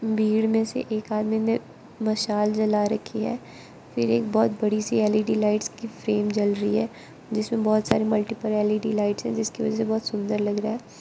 भीड़ में से एक आदमी ने मशाल जला रखी है फिर एक बहुत बड़ी सी एल_इ_डी लाइट्स की फ्रेम जल रही है जिसमें बहुत सारे मल्टीपल एल_इ_डी लाइट्स है जिसकी वजह से बहुत सुंदर लग रहा--